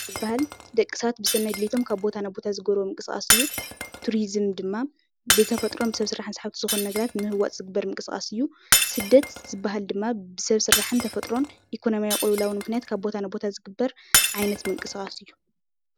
ጉዕዞ ዝብሃል ደቂ ሰባት ብሰናይ ድሌቶም ካብ ቦታ ናብ ቦታ ዝገብርዎ ምንቅስቃስ እዩ፡፡ ቱሪዝም ድማ ብተፈጥሮን ብሰብ ስራሕን ሰሓብቲ ዝኮኑ ነገራት ንምህዋፅ ዝግበር ምንቅስቃስ እዩ፡፡ ስደት ዝብሃል ድማ ብሰብ ስራሕን ብተፈጥሮን ኢኮኖሚያዊ ቅልውላውን ምክንያት ካብ ቦታ ናብ ቦታ ዝግበር ዓይነት ምንቅስቃስ እዩ፡፡